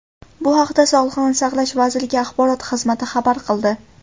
Bu haqda Sog‘liqni saqlash vazirligi axborot xizmati xabar qildi .